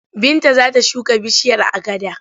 Binta za ta shuka bishiyar agada.